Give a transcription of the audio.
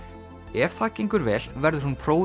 ef það gengur vel verður hún prófuð